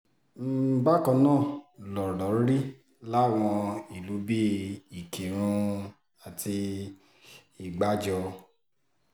bákan náà lọ̀rọ̀ rí láwọn ìlú bíi ìkírùn àti ìgbàjọ